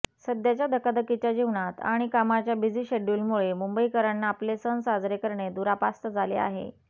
सद्याच्या धकाधकीच्या जीवनात आणि कामाच्या बिझि शेडुल्डमुळे मुंबईकरांना आपले सण साजरे करणे दुरापास्त झाले आहे